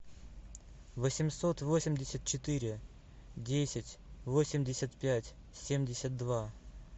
восемьсот восемьдесят четыре десять восемьдесят пять семьдесят два